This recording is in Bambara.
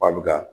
Ba bi ka